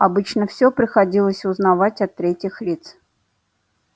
обычно всё приходилось узнавать от третьих лиц